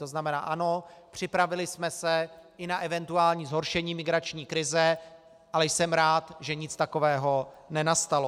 To znamená ano, připravili jsme se i na eventuální zhoršení migrační krize, ale jsem rád, že nic takového nenastalo.